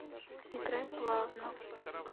играй плавно